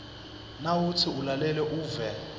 nawutsi ulalele uve